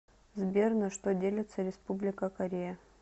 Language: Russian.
сбер на что делится республика корея